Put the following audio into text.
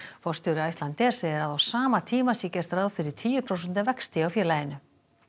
forstjóri Icelandair segir að á sama tíma sé gert ráð fyrir tíu prósenta vexti hjá félaginu